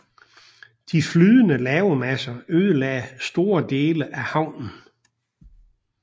De flydende lavamasser ødelagde store dele af havnen